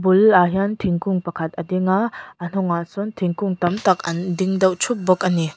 bulah hian thingkung pakhat a ding a a hnungah sawn thingkung tam tak an ding deuh ṭhup bawk a ni.